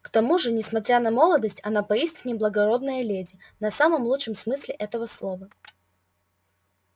к тому же несмотря на молодость она поистине благородная леди на самом лучшем смысле этого слова